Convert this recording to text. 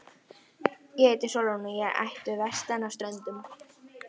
En ég heiti Sólrún og er ættuð vestan af Ströndum.